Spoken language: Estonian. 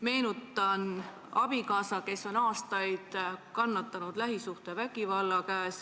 Meenutan, et see abikaasa on aastaid kannatanud lähisuhtevägivalla käes.